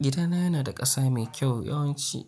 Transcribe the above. Gidana yana da ƙasa mai kyau, yawanci